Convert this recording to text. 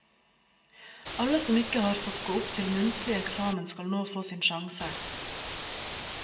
Alle som ikke har fått gå opp til muntlig eksamen, skal nå få sin sjanse.